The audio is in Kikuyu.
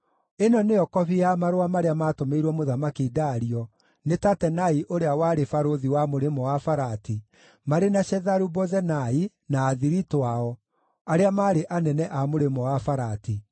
Ĩno nĩyo kobi ya marũa marĩa maatũmĩirwo Mũthamaki Dario nĩ Tatenai ũrĩa warĩ barũthi wa Mũrĩmo-wa-Farati, marĩ na Shetharu-Bozenai na athiritũ ao, arĩa maarĩ anene a Mũrĩmo-wa-Farati.